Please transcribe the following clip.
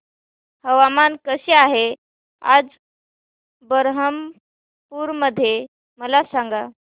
हवामान कसे आहे आज बरहमपुर मध्ये मला सांगा